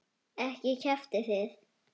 Ekki kjaftið þið.